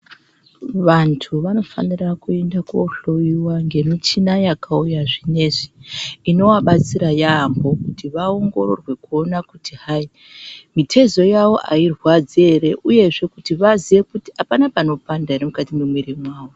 Vanthu vanofanira kuenda kohloyiwa ngemichina yakauya zvinezvi inovabatsira yaamho kuti vaongororwe kuona kuti hai mitezo uavo airrwadzi ere uye vaziye kuti apana panopanda ere mukati memwiri mao.